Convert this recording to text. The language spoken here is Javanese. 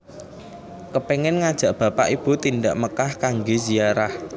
Kepengen ngajak bapak ibu tindak Mekkah kangge ziarah